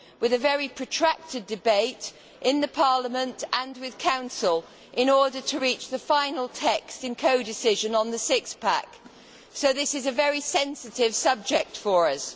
There was a very protracted debate in Parliament, and with the Council, in order to reach the final text in codecision on the six pack', so this is a very sensitive subject for us.